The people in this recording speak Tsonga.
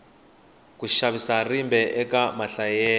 ku xavisa rimba eka mahlayelo